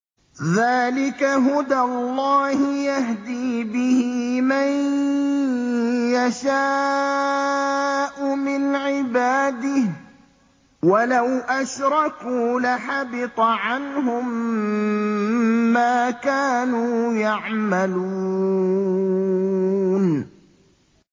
ذَٰلِكَ هُدَى اللَّهِ يَهْدِي بِهِ مَن يَشَاءُ مِنْ عِبَادِهِ ۚ وَلَوْ أَشْرَكُوا لَحَبِطَ عَنْهُم مَّا كَانُوا يَعْمَلُونَ